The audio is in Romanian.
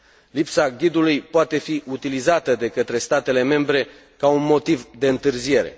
Lipsa ghidului poate fi utilizată de către statele membre ca un motiv de întârziere.